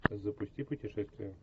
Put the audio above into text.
запусти путешествие